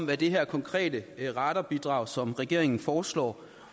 hvad det her konkrete radarbidrag som regeringen foreslår